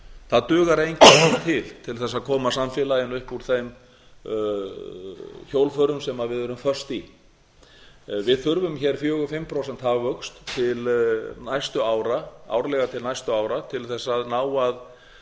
það dugar á engan hátt til til þess að koma samfélaginu upp úr þeim hjólförum sem við erum föst í við þurfum hér fjórar til fimm prósenta hagvöxt árlega til næstu ára til þess að ná